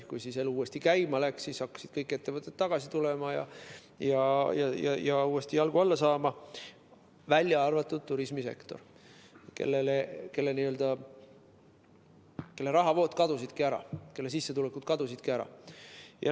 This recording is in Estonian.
Kui elu uuesti käima läks, siis hakkasid ettevõtted tagasi tulema ja uuesti jalgu alla saama, välja arvatud turismisektor, kelle rahavood kadusidki ära, kelle sissetulekud kadusidki ära.